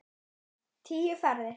Lillý: Tíu ferðir?